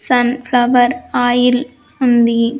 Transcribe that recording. Sun flower oil ఉంది.